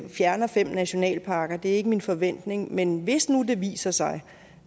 fjerner fem nationalparker det er ikke min forventning men hvis nu det viser sig